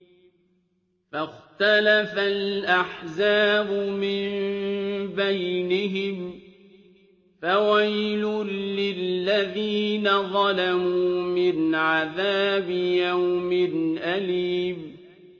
فَاخْتَلَفَ الْأَحْزَابُ مِن بَيْنِهِمْ ۖ فَوَيْلٌ لِّلَّذِينَ ظَلَمُوا مِنْ عَذَابِ يَوْمٍ أَلِيمٍ